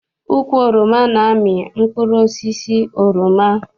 Ukwu oroma na-amị mkpụrụosisi oroma.